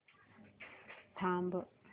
थांब